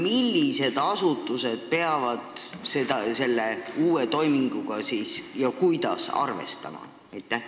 Millised asutused peavad selle uue regulatsiooniga ja kuidas arvestama?